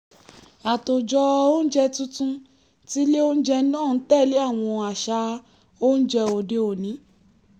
àtòjọ oúnjẹ tuntun ti ilé oúnjẹ náà ń tẹ̀lé àwọn àṣà oúnjẹ òde-òní